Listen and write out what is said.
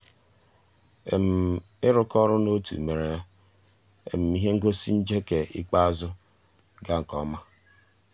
um ị́ rụ́kọ̀ um ọ́rụ́ ótú mérè um íhé ngósì njéké ikpéázụ́ gàà nkè ọ́má.